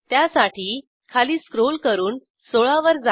त्यासाठी खाली स्क्रॉल करून 16 वर जा